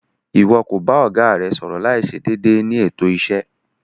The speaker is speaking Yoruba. Iwọ ko ba ọga rẹ sọrọ laiṣe deede ni eto iṣe